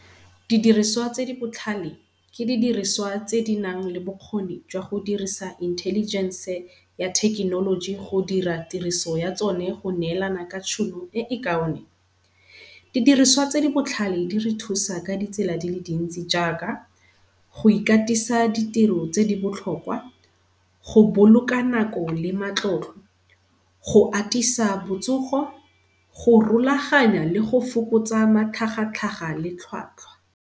Didiriswa tse di botlhale, ke didiriswa tse di nang le bokgoni jwa go dirisa intelligen-se ya thekenoloji go dira tiriso ya tsone go neelana ka tšhono e e kaone. Didiriswa tse di botlhale di re thusa ka ditsela di le dintsi jaaka go ikatisa di tiro tse di botlhokwa, go boloka nako le matlotlo, go atisa botsogo, go rulaganya le go fokotsa matlhagatlhaga le tlhwatlhwa.